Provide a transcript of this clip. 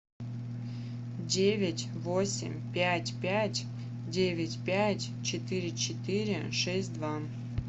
девять восемь пять пять девять пять четыре четыре шесть два